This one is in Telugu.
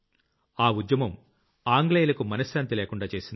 ఆ ఉద్యమం ఆంగ్లేయులకు మనశ్శాంతి లేకుండా చేసింది